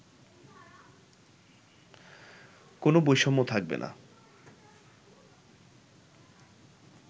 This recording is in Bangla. কোনো বৈষম্য থাকবে না